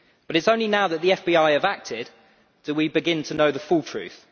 But it is only now that the FBI has acted that we begin to know the full truth.